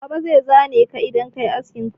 Baba zai zane ka idan ka yi askin quill.